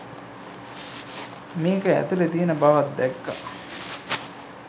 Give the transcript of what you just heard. මේක ඇතුළෙ තියෙන බවක් දැක්කා.